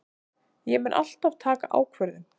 Ég mun alltaf taka ákvörðun.